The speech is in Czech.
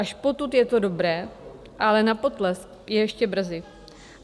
Až potud je to dobré, ale na potlesk je ještě brzy.